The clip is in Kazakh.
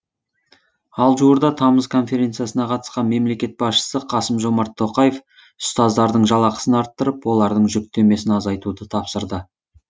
ал жуырда тамыз конференциясына қатысқан мемлекет басшысы қасым жомарт тоқаев ұстаздардың жалақысын арттырып олардың жүктемесін азайтуды тапсырды